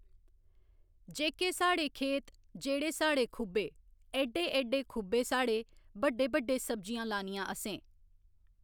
जेह्‌के साढ़े, खेत जेह्ड़े साढ़े खुबे, एड्डे एड्डे खुबे साढ़े, बड्डे बड्डे सब्जियां लानियां असें।